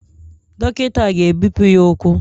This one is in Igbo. Dọkịta a ga-ebipụ ya ụkwụ?